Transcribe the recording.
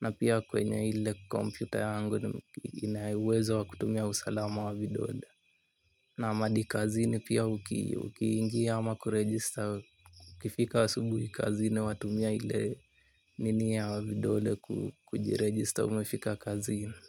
Na pia kwenye ile kompyuta yangu ina uwezo wa kutumia usalama wa vidole. Naam hadi kazini pia ukiingi ama kuregister. Ukifika asubuhi kazini watumia ile nini ya vidole kujiregister umefika kazini.